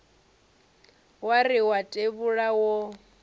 wa ri wa tevhula wo